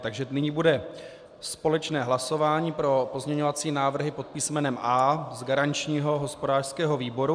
Takže nyní bude společné hlasování pro pozměňovací návrhy pod písmenem A z garančního hospodářského výboru.